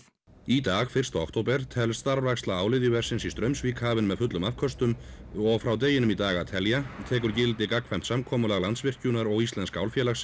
í dag fyrsta október telst starfræksla áliðjuversins í Straumsvík hafin með fullum afköstum og frá deginum í dag að telja tekur gildi gagnkvæmt samkomulag Landsvirkjunar og Íslenska